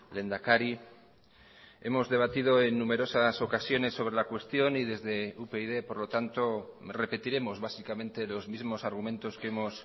lehendakari hemos debatido en numerosas ocasiones sobre la cuestión y desde upyd por lo tanto repetiremos básicamente los mismos argumentos que hemos